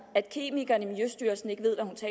at kemikeren i miljøstyrelsen ikke